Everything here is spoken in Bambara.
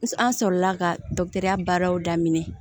An sɔrɔla ka baaraw daminɛ